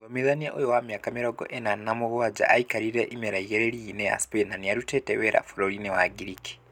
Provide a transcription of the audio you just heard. Mũthomithania ũyũ wa mĩaka mĩrongo ĩna na mũgwanja, aikarire imera igĩrĩ rigi-inĩ ya Spain na nĩarutĩte wira bũrũri-inĩ wa Ngiriki